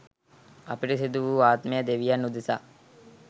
අපිරිසිදු වූ ආත්මය දෙවියන් උදෙසා